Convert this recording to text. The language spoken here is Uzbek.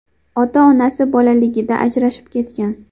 Ota-onasi bolaligida ajrashib ketgan.